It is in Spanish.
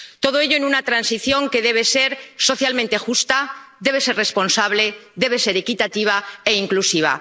Todo ello en una transición que debe ser socialmente justa, debe ser responsable, debe ser equitativa e inclusiva.